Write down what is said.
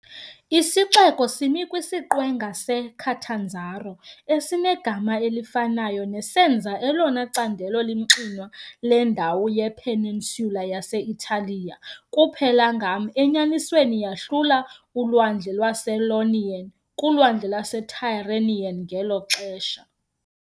Isixeko simi kwisiqwenga seCatanzaro esinegama elifanayo, nesenza elona candelo limxinwa lendawo yepeninsula yase-Italiya - kuphela ngam, enyanisweni, yahlula uLwandle lwase-Ionian kuLwandle lwaseTyrrhenian ngelo xesha.